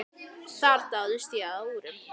Þar dáðist ég að úrum.